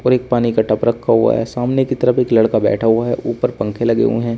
और एक पानी का टप रखा हुआ है सामने की तरफ एक लड़का बैठा हुआ है ऊपर पंखे लगे हुए हैं।